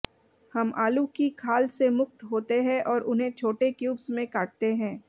हम आलू की खाल से मुक्त होते हैं और उन्हें छोटे क्यूब्स में काटते हैं